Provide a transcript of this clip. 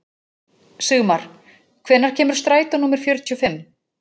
Sigmar, hvenær kemur strætó númer fjörutíu og fimm?